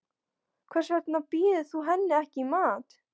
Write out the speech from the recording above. Hvers vegna býður þú henni ekki í mat.